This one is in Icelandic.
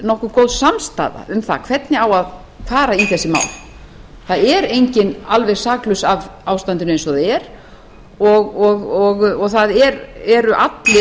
nokkuð samstaða um það hvernig eigi að fara í þessi mál það er enginn alveg saklaus af ástandinu eins og það er og það eru allir